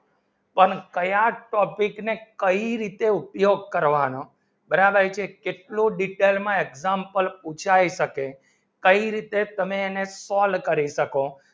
પણ કયા તો અભિચા ને કઈ રીતે ઉપયોગ કરવાનો બરાબર કેટલો detail માં example પૂછાઇ શકે કઈ રીતે તમે એને call કરી શકો